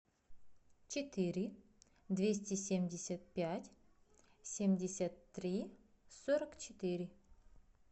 четыре двести семьдесят пять семьдесят три сорок четыре